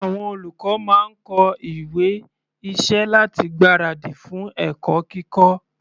Àwọn olùkọ́ máa ń kọ ìwé iṣẹ́ láti gbára dì fún ẹ̀kọ́ kíkọ́.